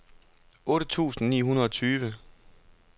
otte tusind ni hundrede og tyve